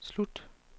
slut